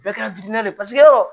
Bɛɛ kɛra ye paseke yɔrɔ